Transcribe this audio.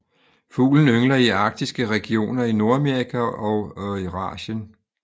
Fuglen yngler i arktiske regioner i Nordamerika og Eurasien